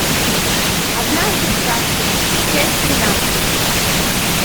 однажды в сказке часть тринадцать